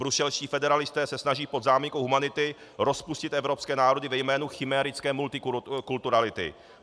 Bruselští federalisté se snaží pod záminkou humanity rozpustit evropské národy ve jménu chimérické multikulturality.